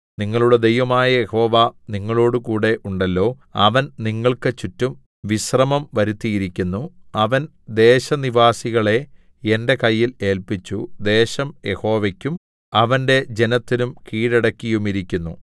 നിങ്ങളുടെ ദൈവമായ യഹോവ നിങ്ങളോടുകൂടെ ഉണ്ടല്ലോ അവൻ നിങ്ങൾക്ക് ചുറ്റും വിശ്രമം വരുത്തിയിരിക്കുന്നു അവൻ ദേശനിവാസികളെ എന്റെ കയ്യിൽ ഏല്പിച്ചു ദേശം യഹോവയ്ക്കും അവന്റെ ജനത്തിനും കീഴടക്കിയുമിരിക്കുന്നു